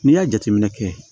N'i y'a jateminɛ kɛ